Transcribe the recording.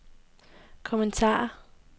kommentarer